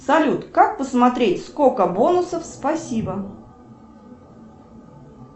салют как посмотреть сколько бонусов спасибо